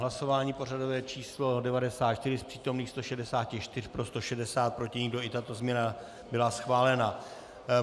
Hlasování pořadové číslo 94, z přítomných 164 pro 160, proti nikdo, i tato změna byla schválena.